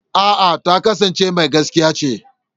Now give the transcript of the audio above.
eh ta kasance Mai gaskiya ce.